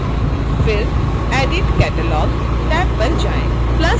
फिर edit catalog tab पर आएँ